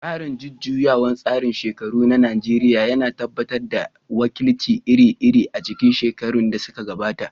Tsarin jujjuyawar tsarin shekaru na Najeriya ya tabbatar da wakilci iri-iri a cikin shekarun da suka gabata.